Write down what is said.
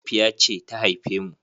Mahaifiya ce ta haife mu.